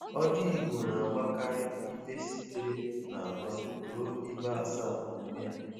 Ọjị Igbo na-agbakarị ibe sitere n'atọ ruo ibe asaa n'onwe ya.